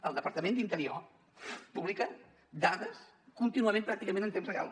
el departament d’interior publica dades contínuament pràcticament en temps real